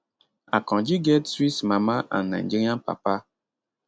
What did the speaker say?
akanji get swiss mama and nigerian papa